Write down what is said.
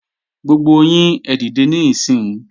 Gbogbo yín ẹ dìde níìsín!